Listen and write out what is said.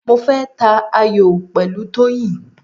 Mo fẹ́ ta ayò pẹ̀lú Toyin.